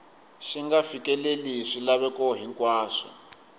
xi nga fikeleli swilaveko hinkwaswo